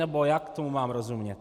Nebo jak tomu mám rozumět?